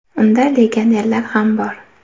Unda legionerlar ham bor.